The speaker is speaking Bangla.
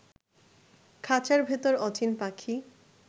খাচার ভিতর অচিন পাখি